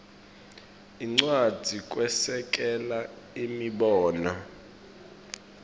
incwadzi kwesekela imibono